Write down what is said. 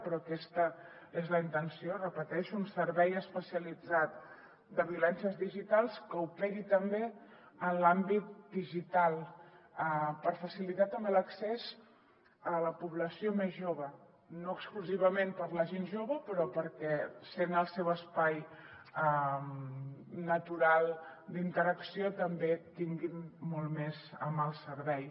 però aquesta és la intenció ho repeteixo un servei especialitzat de violències digitals que operi també en l’àmbit digital per facilitar també l’accés a la població més jove no exclusivament per a la gent jove però perquè sent el seu espai natural d’interacció també tinguin molt més a mà el servei